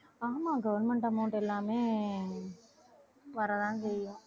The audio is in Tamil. ஆமா government amount எல்லாமே வரத்தான் செய்யும்